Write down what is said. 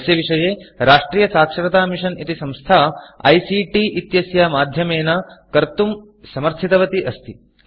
यस्य विषये राष्ट्रियसाक्षरतामिशन् इति संस्था ICTआइसीटि इत्यस्य माध्यमेन कर्तुं समर्थितवती अस्ति